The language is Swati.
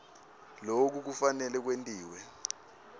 loku kufanele kwentiwe